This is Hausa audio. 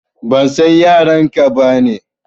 Ban san yaran ka ba ne.